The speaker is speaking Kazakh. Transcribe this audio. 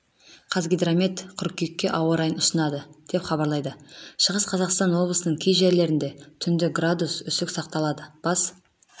қазгидромет қыркүйекке ауа-райын ұсынады деп хабарлайды шығыс қазақстан облысының кей жерлерінде түнде градус үсік сақталады бас